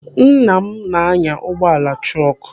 Nna m na-anya ụgbọala trọkụ.